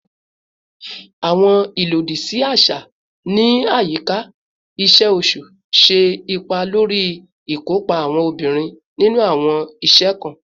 Awọn ilodisi aṣa ni ayika iṣe oṣu ṣe ipa lori ikopa awọn obinrin ninu awọn iṣẹ kan